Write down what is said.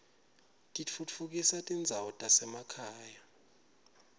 titfutfukisa tindzawo tasemakhaya